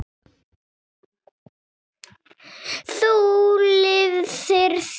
Þú lifðir því.